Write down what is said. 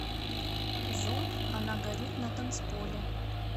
зомб она горит на танцполе